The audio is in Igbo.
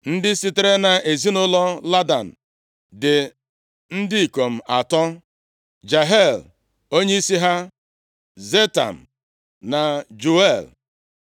Ndị sitere nʼezinaụlọ Ladan dị ndị ikom atọ: Jehiel, onyeisi ha, Zetam na Juel.